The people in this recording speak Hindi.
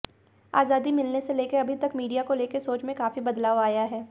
आजादी मिलने से लेकर अभी तक मीडिया को लेकर सोच में काफी बदलाव आया है